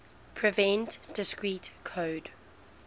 prevent discrete code